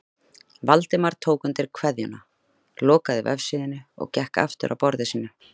Valdimar tók undir kveðjuna, lokaði vefsíðunni og gekk aftur að borðinu sínu.